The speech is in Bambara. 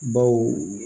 Baw